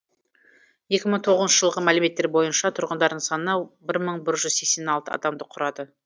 екі мың тоғызыншы жылғы мәліметтер бойынша тұрғындарының саны бір мың бір жүз сексен алты адамды құрады